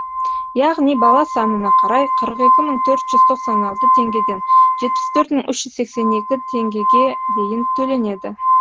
яғни бала санына қарай қырық екі мың төрт жүз тоқсан алты теңгеден жетпіс төрт мың үш жүз сексен екі теңгеге дейін төленеді